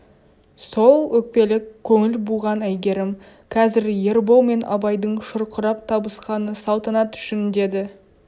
сол өкпелі көңіл буған әйгерім қазір ербол мен абайдың шұрқырап табысқаны салтанат үшін деді